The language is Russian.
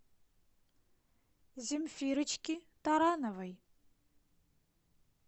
земфирочки тарановой